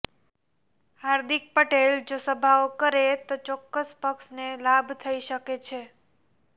હાર્દિક પટેલ જો સભાઓ કરે તો ચોક્કસ પક્ષને લાભ થઈ શકે છે